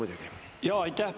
Aitäh!